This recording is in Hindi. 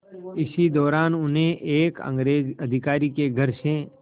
इसी दौरान उन्हें एक अंग्रेज़ अधिकारी के घर से